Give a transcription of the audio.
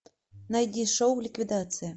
найди шоу ликвидация